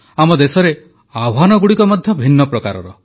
ଆମ ଦେଶରେ ଆହ୍ୱାନଗୁଡ଼ିକ ମଧ୍ୟ ଭିନ୍ନ ପ୍ରକାରର